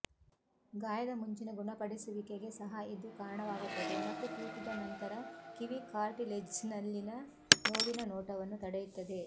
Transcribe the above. ಗಾಯದ ಮುಂಚಿನ ಗುಣಪಡಿಸುವಿಕೆಗೆ ಸಹ ಇದು ಕಾರಣವಾಗುತ್ತದೆ ಮತ್ತು ತೂತುದ ನಂತರ ಕಿವಿ ಕಾರ್ಟಿಲೆಜ್ನಲ್ಲಿನ ನೋವಿನ ನೋಟವನ್ನು ತಡೆಯುತ್ತದೆ